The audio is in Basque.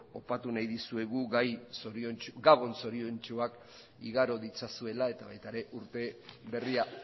opatu nahi dizuegu gabon zoriontsuak igaro ditzazuela eta baita ere urte berria